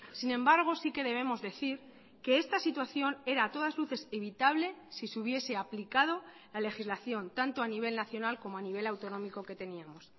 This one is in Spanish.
sin embargo sí que debemos decir que esta situación era a todas luces evitable si se hubiese aplicado la legislación tanto a nivel nacional como a nivel autonómico que teníamos